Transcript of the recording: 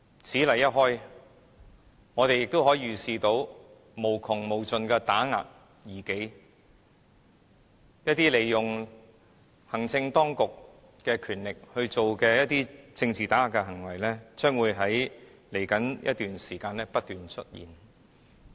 此例一開，我們可以預見無窮無盡的打壓異己行動，利用行政當局的權力進行政治打壓的行為，將會在未來一段時間湧現。